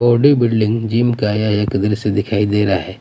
Body building gym का यह एक द्रश्य दिखाई दे रहा हैं।